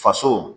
Faso